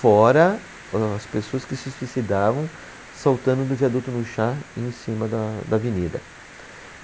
Fora as pessoas que se suicidavam saltando do viaduto do Chá em cima da, da avenida.